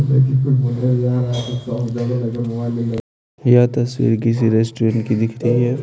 यह तस्वीर किसी रेस्टोरेंट की दिख रही है ।